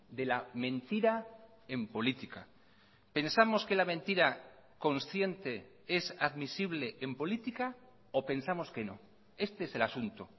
de la mentira en política pensamos que la mentira consciente es admisible en política o pensamos que no este es el asunto